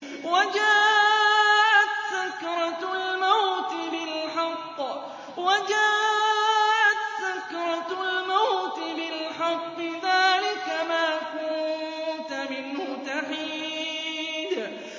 وَجَاءَتْ سَكْرَةُ الْمَوْتِ بِالْحَقِّ ۖ ذَٰلِكَ مَا كُنتَ مِنْهُ تَحِيدُ